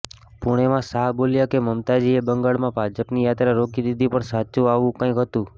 પુણેમાં શાહ બોલ્યા કે મમતાજીએ બંગાળમાં ભાજપની યાત્રા રોકી દીધી પણ સાચું આવું કંઈક હતું